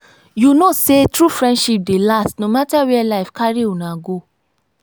you know sey true friendship dey last no mata where life carry una go.